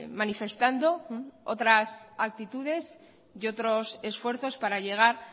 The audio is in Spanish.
manifestando otras actitudes y otros esfuerzos para llegar